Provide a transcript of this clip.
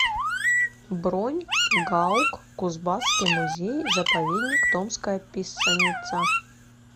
бронь гаук кузбасский музей заповедник томская писаница